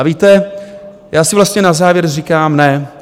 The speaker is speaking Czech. A víte, já si vlastně na závěr říkám: ne.